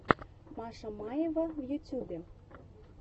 маша маева в ютубе